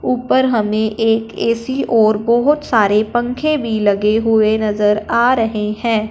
ऊपर हमे एक ए_सी और बहोत सारे पंखे भी लगे हुए नजर आ रहे हैं।